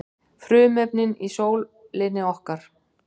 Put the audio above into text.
Frumefnin í sólinni okkar.